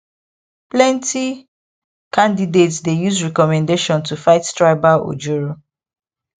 plenty candidates dey use recommendation to fight tribal ojoro